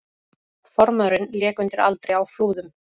Formaðurinn lék undir aldri á Flúðum